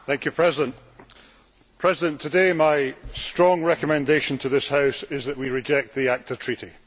Madam President, today my strong recommendation to this House is that we reject the ACTA treaty.